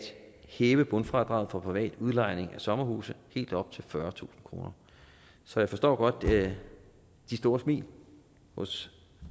hæve bundfradraget for privat udlejning af sommerhuse helt op til fyrretusind kroner så jeg forstår godt de store smil hos